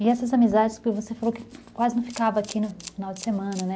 E essas amizades, porque você falou que quase não ficava aqui no final de semana, né?